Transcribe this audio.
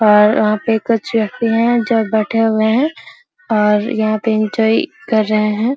पर यहाँ पर कुछ बैठे हुए है और यहाँ पर एन्जॉय कर रहे है।